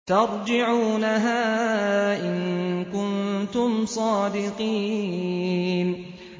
تَرْجِعُونَهَا إِن كُنتُمْ صَادِقِينَ